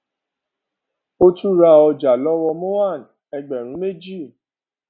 ó tún ra ọjà lọwọ mohan ẹgbẹrún méjì